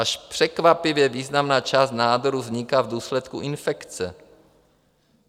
Až překvapivě významná část nádorů vzniká v důsledku infekce.